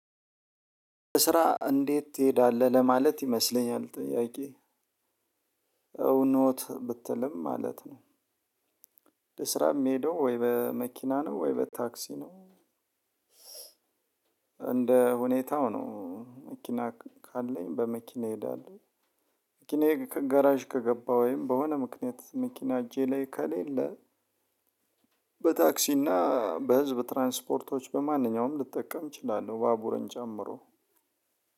ስራ እንዴት ትሄዳለህ ለማለት ይመስለኛል ጥያቄ? እውኖት ብትልም ማለት ነው። ለስራ ሚሄደው ወይ በመኪና ነው ወይ በታክሲ ነው? እንደ ሁኔታው ነው መኪና ካለኝ በመኪና እሄዳለው። መኪናዬ ከጋራዥ ከገባ ወይም በሆነ ምክንያት መኪና እጄ ላይ ከሌለ በታክሲና በህዝብ ትራንስፖርቶች በማንኛውም ልጠቀም እችላለው። ባቡርን ጨምሮ